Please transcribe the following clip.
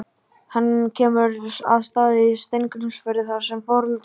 Hann kemur að Stað í Steingrímsfirði þar sem foreldrar